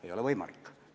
Ei ole võimalik!